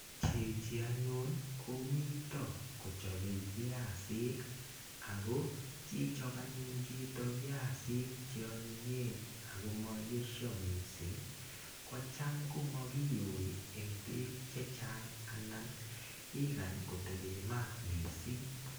Chichi anyun komito kochobei piasik ako sichop anyun chito piasik che onyinyen ako mayesho mising kocham komakiyoi eng beek chechang anan ikany kotebee maat missing.